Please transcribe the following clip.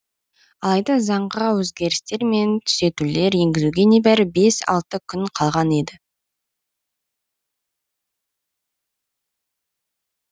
алайда заңға өзгерістер мен түзетулер енгізуге небәрі бес алты күн қалған еді